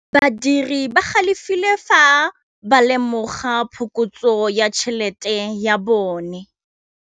Badiri ba galefile fa ba lemoga phokotsô ya tšhelête ya bone.